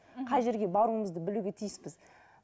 қай жерге баруымызды білуге тиіспіз